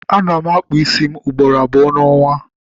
Ana m akpụ ísí ugboro abụọ n'ọnwa